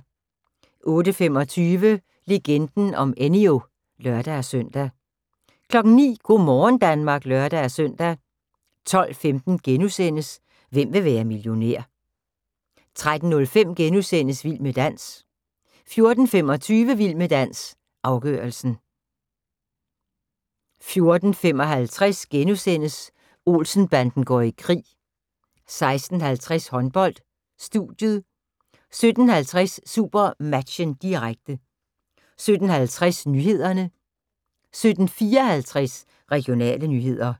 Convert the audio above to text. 08:25: Legenden om Enyo (lør-søn) 09:00: Go' morgen Danmark (lør-søn) 12:15: Hvem vil være millionær? * 13:05: Vild med dans * 14:25: Vild med dans – afgørelsen 14:55: Olsen-banden går i krig * 16:50: Håndbold: Studiet 17:05: SuperMatchen, direkte 17:50: Nyhederne 17:54: Regionale nyheder